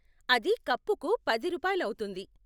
అది కప్పుకు పది రూపాయలు అవుతుంది.